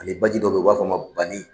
Ani baji dɔ bɛ ye u b'a f'a ma Bani.